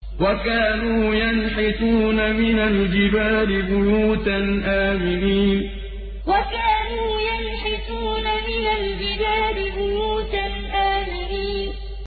وَكَانُوا يَنْحِتُونَ مِنَ الْجِبَالِ بُيُوتًا آمِنِينَ وَكَانُوا يَنْحِتُونَ مِنَ الْجِبَالِ بُيُوتًا آمِنِينَ